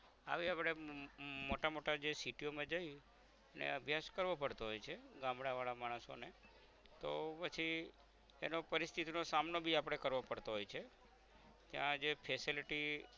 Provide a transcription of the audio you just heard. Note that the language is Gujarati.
આવી અપડે અમ મોટા મોટા જે city યો માં જઈ ને અભ્યાસ કરવો પડતો હોય છે ગામડાવાળા માણસોને તો પછી એનો પરિસ્થિતી નો સામનો ભી આપણે કરવો પડતો હોય છે ત્યાં જે facility